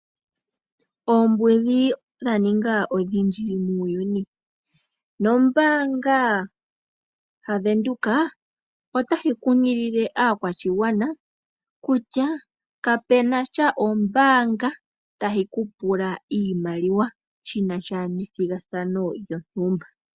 Oombudhi odha ninga odhindji muuyuni, nombaanga ya Venduka otayi kunkilile aakwashigwana kutya, kape nasha ombaanga tayi ku pula iimaliwa shi nasha nethigathano lyontumba.